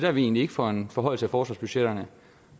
er vi egentlig ikke for en forhøjelse af forsvarsbudgetterne